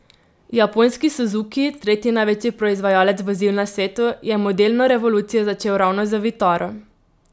Japonski Suzuki, tretji največji proizvajalec vozil na svetu, je modelno revolucijo začel ravno z vitaro.